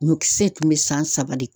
Ɲɔkisɛ tun bɛ san saba de